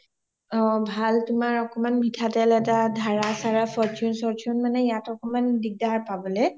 ভাল তোমাৰ অকমাণ এটা মিথা তেলয়েই হওঁক ধাৰা sara fortune চৰ্টুন য়েই হওঁক অকমান হিগদাৰ হয় পাবলে